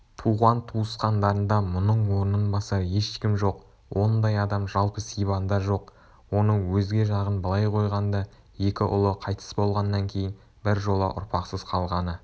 туған-туысқандарында мұның орнын басар ешкім жоқ ондай адам жалпы сибанда жоқ оның өзге жағын былай қойғанда екі ұлы қайтыс болғаннан кейін біржола ұрпақсыз қалғаны